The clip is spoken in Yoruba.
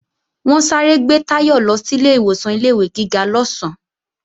Wọ́n sáré gbé Táyọ̀ lọ sílé ìwọ̀san ilé-ìwé gíga lọ́sán